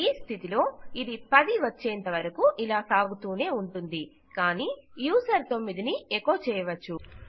ఈ స్థితిలో ఇది 10 వచ్చేంత వరకు ఇలా సాగుతూనే ఉంటుంది కానీ యూజర్ 9 ని ఎకొ చేయవచ్చు